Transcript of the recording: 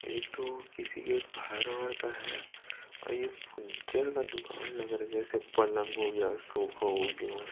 ये तो किसी के घर वर का है। ओर ये फर्नीचर का दूकान लग रही है जैसे पलंग हो गया सोफा हो गया।